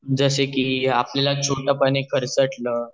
जसे कि आपल्याला छोट पाने खरचटल